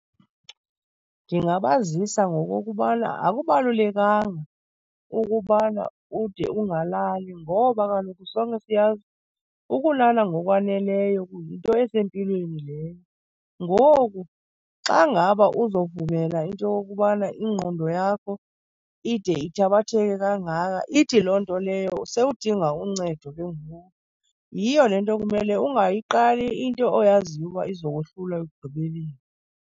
Ndingabazisa ngokokubana akubalulekanga ukubana ude ungalali ngoba kaloku sonke siyazi ukulala ngokwaneleyo yinto esempilweni leyo. Ngoku xa ngaba uzovumela into yokubana ingqondo yakho ide ithabatheke kangaka, ithi loo nto leyo sewudinga uncedo ke ngoku. Yiyo le nto kumele ungayiqali into oyaziyo uba izokohlula ekugqibeleni.